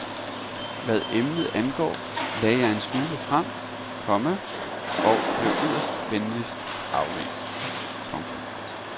Hvad emnet angår lagde jeg en smule frem, komma og blev yderst venligt afvist. punktum